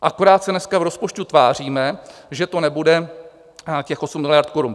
Akorát se dneska v rozpočtu tváříme, že to nebude těch 8 miliard korun.